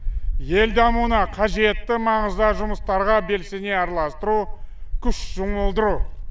ел дамуына қажетті маңызды жұмыстарға белсене араластыру күш жұмылдыру